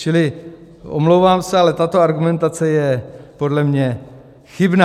Čili omlouvám se, ale tato argumentace je podle mě chybná.